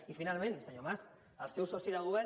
i finalment senyor mas el seu soci de govern